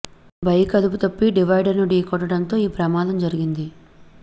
bike అదుపుతప్పి divider ను ఢీకొట్టడంతో ఈ ప్రమాదం జరిగింది